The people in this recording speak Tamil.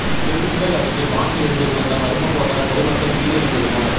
திண்டுக்கல் அருகே வானில் இருந்து விழுந்த மர்ம பொருளால் பொதுமக்கள் பீதியடைந்துள்ளனர்